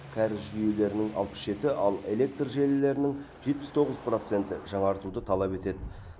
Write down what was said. кәріз жүйелерінің алпыс жеті ал электр желілерінің жетпіс тоғыз процентті жаңартуды талап етеді